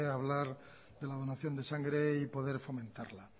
hablar de la donación de sangre y poder fomentarla